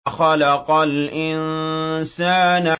خَلَقَ الْإِنسَانَ